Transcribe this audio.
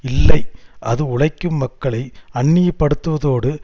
இல்லை அது உழைக்கும் மக்களை அந்நியப்படுத்துவதோடு